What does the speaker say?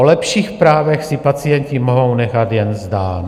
O lepších právech si pacienti mohou nechat jen zdát.